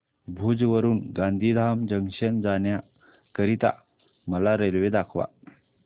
भुज वरून गांधीधाम जंक्शन जाण्या करीता मला रेल्वे दाखवा